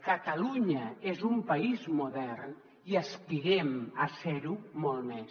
catalunya és un país modern i aspirem a ser ho molt més